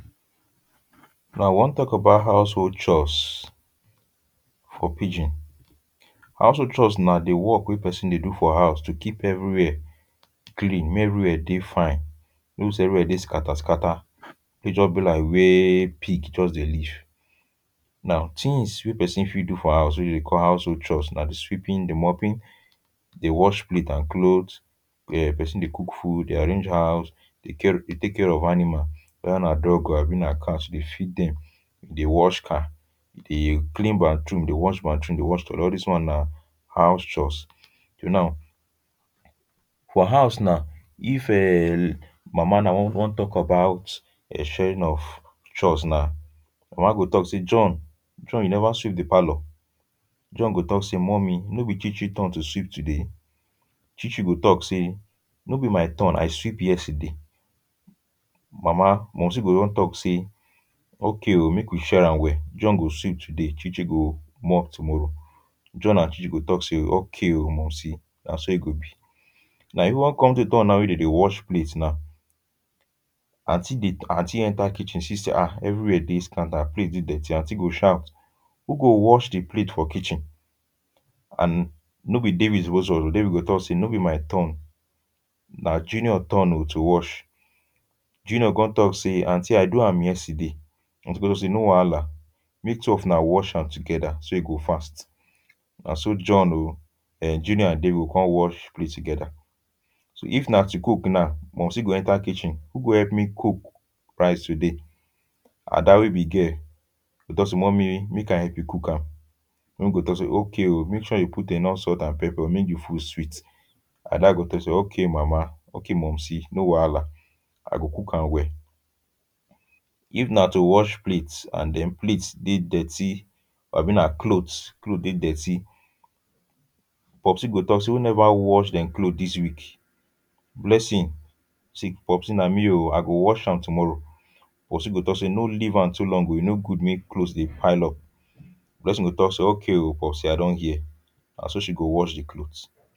Now, I wan talk about household chores for pidgin. Household chores na di work wey person dey do for house to keep everywhere clean. Make everywhere dey fine, no say everywhere dey scatter scatter; make e just be like wey pig just dey live. Now tins wey pesin fit do for house wey dem dey call household chores na di sweeping, di mopping, di wash plate and clothes. Then, pesin dey cook food, dey arrange house, dey care, dey take care of animal — whether na dog abi na cat — dey feed dem, dey wash car. Dey clean bathroom, dey wash bathroom, all dis one na house chores. So now for house now if um mama wan talk about di sharing of chores now, mama go talk say, "John, John you never sweep di parlour". John go talk say, "mummy, no be ChiChi turn to sweep today?" Chichi go talk say, "no be my turn I sweep yesterday". Mama, mumsy go come talk say, "Ok o, make we share am well. John go sweep today. ChiChi go mop tomorrow". John and ChiChi go talk say "Okay o mumsy. Na so e go be". Na come turn na when dem dey wash plate na, Aunty dey, aunty enter kitchen see say, ah! everywhere dey scattered and plate dey dirty. Aunty go shout, “Who go wash di plate for kitchen?” And no be David suppose. David go talk say, “No be my turn. Na Junior turn to wash.” Junior come talk say, "Aunty I do am yesterday." Aunty go say, "No wahala, make two of una wash am together so e go fast." Na so John o um Junior and David go come wash di plate together. So if na to cook na, mumsy go enter kitchen. Who go help me cook rice today? Ada wey be girl go talk say, "Mummy, make I help you cook am." Mummy go talk say, "Okay o, make sure you put enough salt and pepper make di food sweet. Ada go talk say, "Okay, mama. Okay, mumsy. No wahala. I go cook am well." If na to wash plate and then plate dey dirty abi na clothes, clothes dey dirty, Popsi go talk say, "Who never wash dem clothes dis week?" Blessing say, "Popsi, na me o. I go wash am tomorrow." Popsi go talk say, "No leave am too long o. E no good make clothes dey pile up." Blessing go talk say, "Okay o, Popsi. I don hear." Na so she go wash di clothes.